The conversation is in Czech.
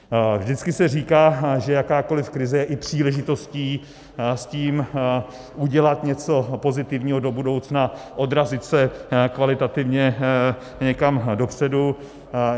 Vždycky se říká, že jakákoliv krize je i příležitostí s tím udělat něco pozitivního do budoucna, odrazit se kvalitativně někam dopředu.